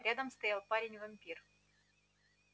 рядом стоял парень-вампир